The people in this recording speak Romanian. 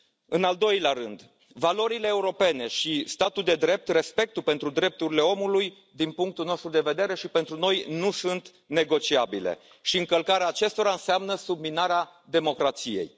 În al doilea rând, valorile europene și statul de drept, respectul pentru drepturile omului, din punctul nostru de vedere și pentru noi, nu sunt negociabile și încălcarea acestora înseamnă subminarea democrației.